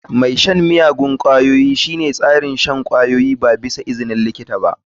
Mai shan miyagun ƙwayoyi shine tsarin shan kwayoyi ba tare da izinin likitoci ba.